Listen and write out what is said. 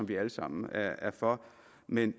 vi alle sammen er for men